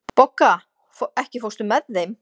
Bogga, ekki fórstu með þeim?